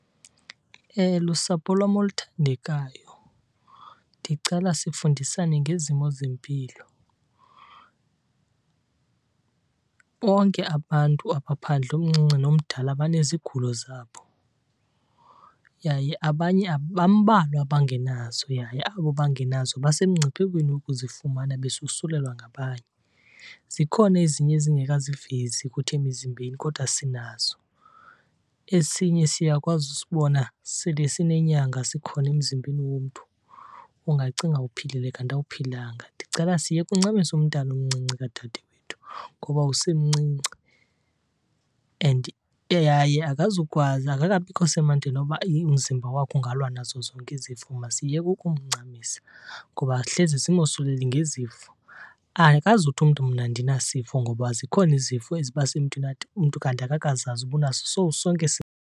Lusapho lwam oluthandekayo ndicela sifundisane ngezimo zempilo. Bonke abantu apha phandle omncinci nomdala banezigulo zabo yaye abanye , bambalwa abangenazo yaye abo bangenazo basemngciphekweni wokuzifumana besosulelwa ngabanye. Zikhona ezinye ezingekazivezi kuthi emizimbeni kodwa sinazo. Esinye siyakwazi usibona sele sinenyanga sikhona emzimbeni womntu. Ungacinga uphilile kanti awuphilanga. Ndicela siyeke uncamisa umntana omncinci kadade wethu ngoba usemncinci and yaye akazukwazi, akakabikho semandleni woba umzimba wakho ungalwa nazo zonke izifo. Masiyeke ukumncamisa ngoba hleze simosulele ngezifo. Akazuthi umntu mna andinasifo ngoba zikhona izifo ezibasemntwini umntu kanti akazazi uba unaso so sonke .